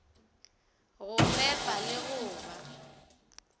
ba fepa le go ba